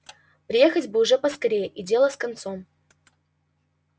приехать бы уж поскорее и дело с концом